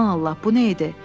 Aman Allah, bu nə idi?